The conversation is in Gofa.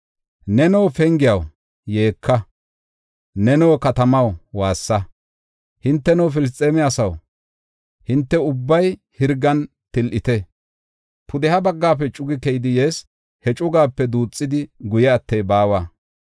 Neno pengiyaw, yeeka! Neno katamaw, waassa! Hinteno Filisxeeme asaw, hinte ubbay hirgan til7ite! Pudeha baggafe cuyi keyidi yees; he cugaape duuxidi guye attey baawa.